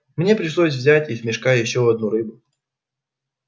мне пришлось взять из мешка ещё одну рыбу